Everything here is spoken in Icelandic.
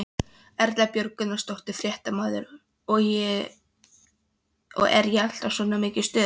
Erla Björg Gunnarsdóttir, fréttamaður: Og er alltaf svona mikið stuð?